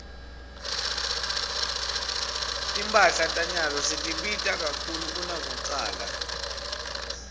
timphahla tanyalo setibita kakhulu kunakucala